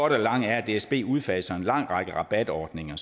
det lange er at dsb udfaser en lang række rabatordninger